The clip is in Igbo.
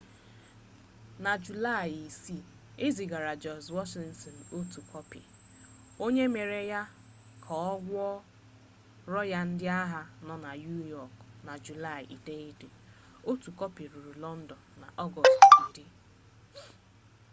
na julaị 6 e zigaara george washington otu kọpị onye mere ka a gụọrọ ya ndị agha ya na niu yọk na julaị 9 otu kọpị ruru lọndọn n'ọgọstụ 10